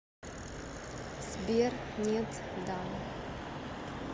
сбер нет да